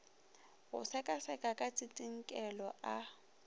go sekaseka ka tsitsinkelo a